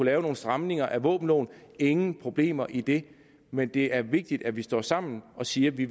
lave nogle stramninger af våbenloven ingen problemer i det men det er vigtigt at vi står sammen og siger at vi